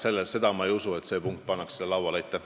Seda ma ei usu, et see punkt seal lauale pannakse.